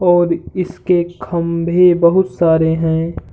और इसके खंभे बोहोत सारे हैं।